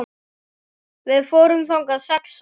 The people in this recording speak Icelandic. Við fórum þangað sex saman.